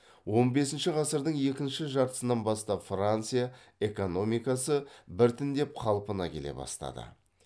он бесінші ғасырдың екінші жартысынан бастап франция экономикасы біртіндеп қалпына келе бастады